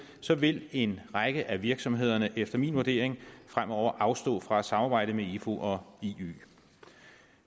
så vil en række af virksomhederne efter min vurdering fremover afstå fra at samarbejde med ifu og iø